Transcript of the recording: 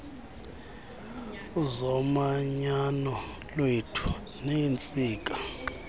zomanyano lwethu neentsika